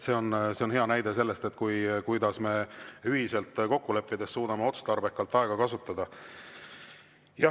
See on hea näide, kuidas me ühiselt kokku leppides suudame aega otstarbekalt kasutada.